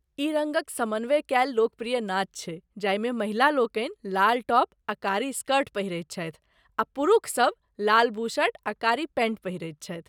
ई रङ्गक समन्वय कयल लोकप्रिय नाच छै जाहिमे महिला लोकनि लाल टॉप आ कारी स्कर्ट पहिरैत छथि आ पुरूख सब लाल बुशर्ट आ कारी पैंट पहिरैत छथि।